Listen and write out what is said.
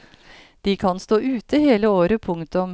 De kan stå ute hele året. punktum